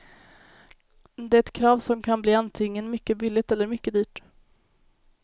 Det är ett krav som kan bli antingen mycket billigt eller mycket dyrt.